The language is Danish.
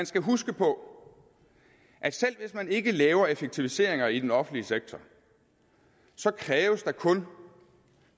skal huske på at selv hvis man ikke laver effektiviseringer i den offentlige sektor så kræves der kun